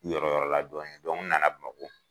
Yɔrɔ yɔrɔ la dɔni dɔnke n nana bamakɔ